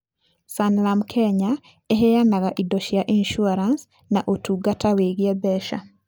Sanlam Kenya ĩheanaga indo cia insurance na ũtungata wĩgiĩ mbeca.